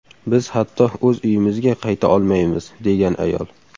Biz hatto o‘z uyimizga qayta olmaymiz”, degan ayol.